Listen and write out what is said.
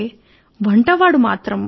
ఈరోజు ఏదైనా మంచి వంటకం చేసి ఉంటారు